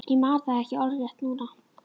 Ég man það ekki orðrétt núna.